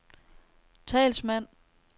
talsmand